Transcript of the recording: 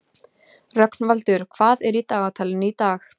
Rögnvaldur, hvað er í dagatalinu í dag?